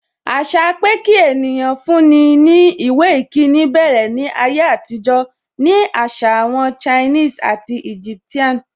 Àṣà pé kí ènìyàn fún ní ìwé ìkíni bẹ̀rẹ̀ ní ayé àtijọ́ ni àṣà àwọn Chinese and Egyptian nu.